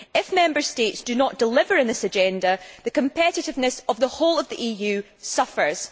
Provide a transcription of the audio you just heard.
If Member States do not deliver on this agenda, the competitiveness of the whole EU suffers.